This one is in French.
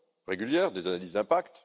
régulière, des analyses d'impact